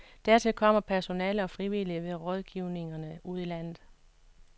Hertil kommer personale og frivillige ved rådgivningerne ude i landet.